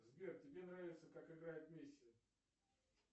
сбер тебе нравится как играет месси